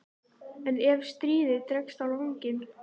En ef stríðið dregst á langinn?